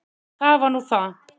Það var nú það!